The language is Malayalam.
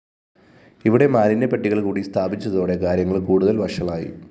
ഇവിടെ മാലിന്യപെട്ടികള്‍ കൂടി സ്ഥാപിച്ചതോടെ കാര്യങ്ങള്‍ കൂടുതല്‍ വഷളായി